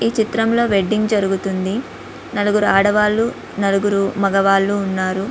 ఈ చిత్రంలో వెడ్డింగ్ జరుగుతుంది.నలుగు ఆడవాళ్లునలుగురు మగవాళ్లు ఉన్నారు.